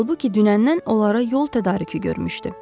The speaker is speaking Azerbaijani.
Halbuki dünəndən onlara yol tədarükü görmüşdü.